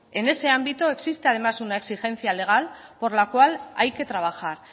en ese ámbito existe además una exigencia legal por la cual hay que trabajar